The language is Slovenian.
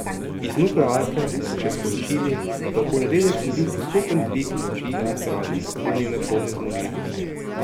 Iz nuklearke so še sporočili, do bo v ponedeljek sledil postopen dvig moči elektrarne do njene polne zmogljivosti.